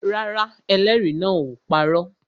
Rárá, ẹlẹ́rìí náà ò parọ́